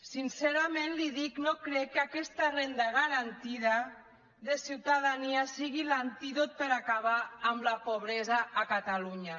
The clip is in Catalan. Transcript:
sincerament li ho dic no crec que aquesta renda garantida de ciutadania sigui l’antídot per acabar amb la pobresa a catalunya